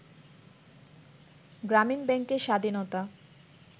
গ্রামীণ ব্যাংকের স্বাধীনতা